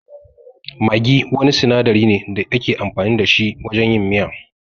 Maggi wani sinadari ne da ake amfani da shi wajen yin miya.